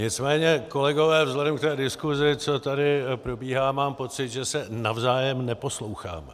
Nicméně kolegové, vzhledem k té diskuzi, co tady probíhá, mám pocit, že se navzájem neposloucháme.